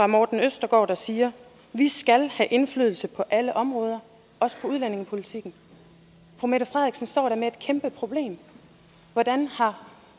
morten østergaard siger vi skal have indflydelse på alle områder også på udlændingepolitikken fru mette frederiksen står da med et kæmpe problem hvordan har